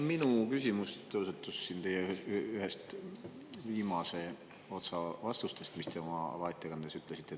Minu küsimus tõusetus siin ühest teie viimase otsa vastusest, mis te oma avaettekandes ütlesite.